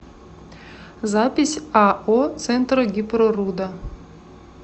запись ао центрогипроруда